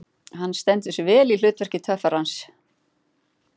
Hann stendur sig vel í hlut verki töffarans.